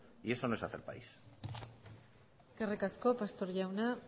eso no es hacer país eskerrik asko pastor jauna